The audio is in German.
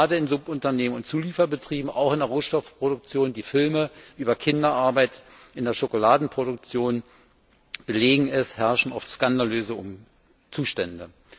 Gerade in Subunternehmen und Zulieferbetrieben, auch in der Rohstoffproduktion die Filme über Kinderarbeit in der Schokoladeproduktion belegen es herrschen oft skandalöse Zustände.